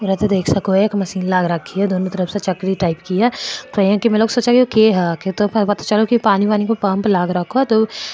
ये देख सको हो एक मशीन लाग रखे है दोनो तरफ से चक्री टाइप की है इया की में सोचा ये के है तो पता चलो ये पानी वानी के पम्प लाग रखो है तो --